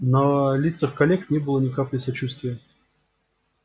на лицах коллег не было ни капли сочувствия